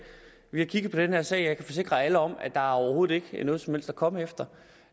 vi har kigget på den her sag og jeg kan forsikre alle om at der overhovedet ikke er noget som helst at komme efter